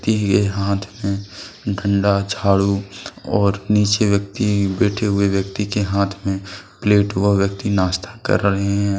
यह हाथ में डंडा झाड़ू और नीचे व्यक्ति बैठे हुए व्यक्ति के हाथ में प्लेट वह व्यक्ति नाश्ता कर रहे हैं।